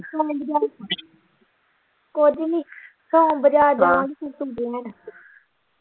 ਕੁਝ ਨਹੀਂ ਸੋਮ ਬਜਾਰ ਜਾਣਾ ਸੀ ਹਾਂ ਸਬਜ਼ੀ ਲੈਣ।